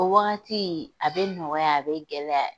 O wagati, a bɛ nɔgɔya, a bɛ gɛlɛya.